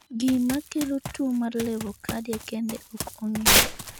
Gima kelo tuwo mar levocardia kende ok ong'ere.